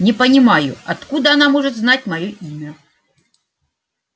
не понимаю откуда она может знать моё имя